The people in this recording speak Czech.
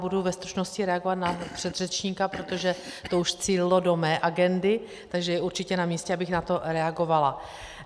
Budu ve stručnosti reagovat na předřečníka, protože to už cílilo do mé agendy, takže je určitě namístě, abych na to reagovala.